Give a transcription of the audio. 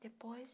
Depois,